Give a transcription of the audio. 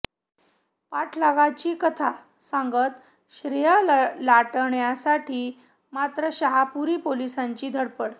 पाठलागाची कथा सांगत श्रेय लाटण्यासाठी मात्र शाहूपुरी पोलिसांची धडपड